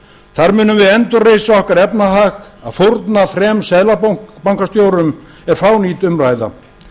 þar munum við endurreisa okkar efnahag að fórna þremur seðlabankastjórum er fánýt umræða